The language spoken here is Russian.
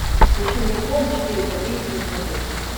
включи мне хоум четыре ка на смотрешке